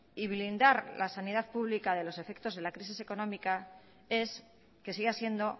y blindar la sanidad pública de los efectos de la crisis económica es que siga siendo